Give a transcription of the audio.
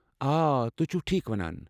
آ، تُہۍ، چُھو ٹھیٖکھ ونان ۔